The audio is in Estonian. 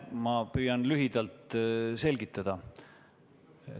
Ma püüan lühidalt selgitada.